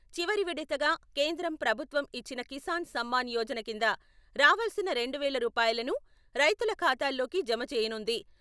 చివరి విడతగా కేంద్రం ప్రభుత్వం నుంచి కిసాన్ సమ్మాన్ యోజన కింద రావాల్సిన రెండు వేల రూపాయలను రైతుల ఖాతాల్లోకి జమ చేయనుంది.